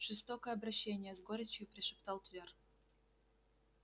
жестокое обращение с горечью прошептал твер